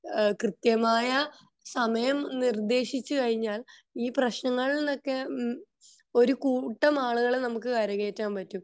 കൃത്യമായ സമയം നിർദ്ദേശിച്ചു കഴിഞ്ഞാൽ ഈ പ്രശ്നങ്ങളിന്ന് ഒക്കെ ഒരു കൂട്ടം ആളുകളെ നമുക്ക് കര കേറ്റാൻ പാട്ടും